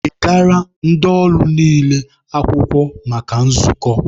Degara ndị ọlụ niile akwụkwọ maka nzukọ!